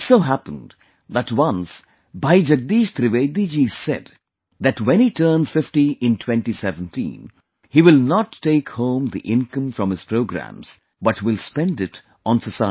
It so happened that once Bhai Jagdish Trivedi ji said that when he turns 50 in 2017, he will not take home the income from his programs but will spend it on society